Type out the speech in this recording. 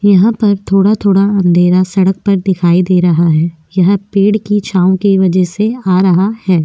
यहाँ पर थोडा थोडा अंधेरा सडक पर दिखाई दे रहा है यह पेड़ की छाँव की वजह से आ रहा है।